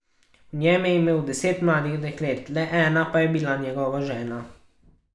V njem je imel deset mladih deklet, le ena pa je bila njegova žena.